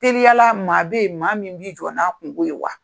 Teliyala maa bɛ yen maa min b'i jɔ na kunko yen wa?